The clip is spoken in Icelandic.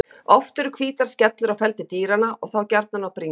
Oft eru hvítar skellur á feldi dýranna og þá gjarnan á bringu.